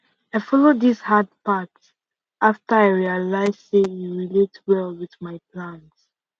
i follow this hard path after i realize say e relate well with all my plans